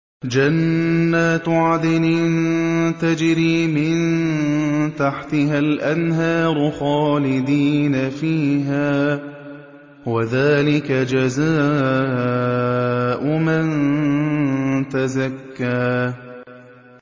جَنَّاتُ عَدْنٍ تَجْرِي مِن تَحْتِهَا الْأَنْهَارُ خَالِدِينَ فِيهَا ۚ وَذَٰلِكَ جَزَاءُ مَن تَزَكَّىٰ